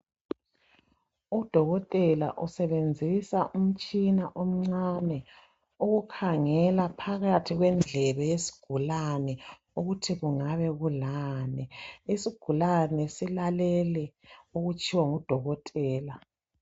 Udokotela usebenzisa umtshina omncane ukukhangela phakathi kwendlebe yesigulani ukuthi kungabe kulani isigulane silalele okutshiwo ngudokotela.